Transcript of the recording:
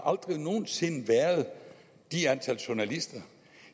aldrig nogen sinde har været det antal journalister